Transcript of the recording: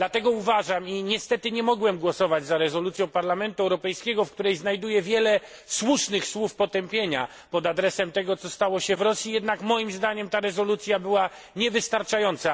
Dlatego uważam i niestety nie mogłem głosować za rezolucją Parlamentu Europejskiego, w której znajduję wiele słusznych słów potępienia pod adresem tego, co stało się w Rosji że jednak moim zdaniem ta rezolucja była niewystarczająca.